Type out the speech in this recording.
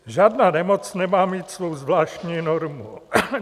Žádná nemoc nemá mít svou zvláštní normu.